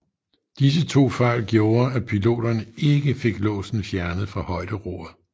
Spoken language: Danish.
Disse to fejl gjorde at piloterne ikke fik låsen fjernet fra højderoret